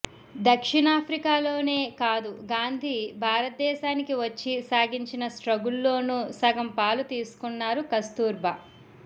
దక్షిణా ఆఫ్రికాలోనే కాదు గాంధీ భారతదేశానికి వచ్చి సాగించిన స్ట్రగుల్లోనూ సగంపాలు తీసుకున్నారు కస్తూర్బా